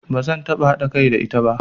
Ba zan taɓa haɗa kai da ita ba.